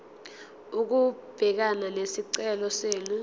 ukubhekana nesicelo senu